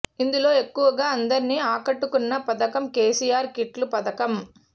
ఇందులో ఎక్కువగా అందరినీ ఆకట్టుకున్న పథకం కేసీఆర్ కిట్ల పథకం